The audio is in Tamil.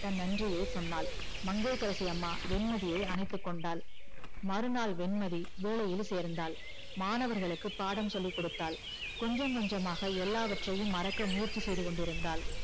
தன் நன்றியை சொன்னால் மங்கையகரசி அம்மா வெண்மதியை அனைத்து கொண்டால் மறுநாள் வெண்மதி வேளையில் சேர்ந்தால் மாணவர்களுக்கு பாடம் சொல்லிக்கொடுத்தால் கொஞ்சம் கொஞ்சமாக எல்லாவற்ரையும் மறக்க முயற்சி செய்து கொண்டுஇருந்தால்